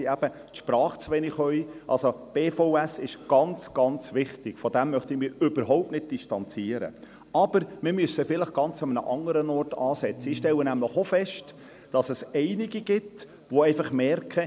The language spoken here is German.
Ich lege es hier offen, ich habe vor einem Jahr den Sparmassnahmen zugestimmt, doch musste